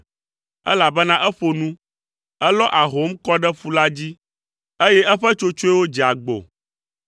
elabena eƒo nu, elɔ ahom kɔ ɖe ƒu la dzi, eye eƒe tsotsoewo dze agbo.